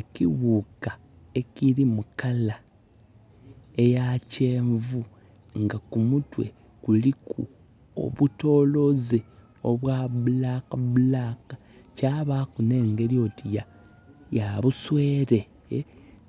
Ekighuka ekiri mulangi eya kyenvu nga kumutwe kuliku obutooloze obwirugavu, kwabaku nengeri oti ya buswere